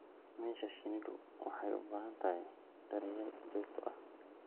Meesha shinnidu waxay u baahan tahay daryeel joogto ah.